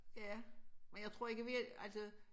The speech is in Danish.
Ja men jeg tror ikke vi altså